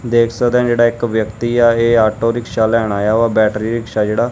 ਦੇਖ ਸਕਦੇ ਹ ਜਿਹੜਾ ਇੱਕ ਵਿਅਕਤੀ ਆ ਇਹ ਆਟੋ ਰਿਕਸ਼ਾ ਲੈਣ ਆਇਆ ਵਾ ਬੈਟਰੀ ਰਿਕਸ਼ਾ ਜਿਹੜਾ।